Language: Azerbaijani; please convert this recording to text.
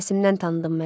Səsimdən tanıdın məni?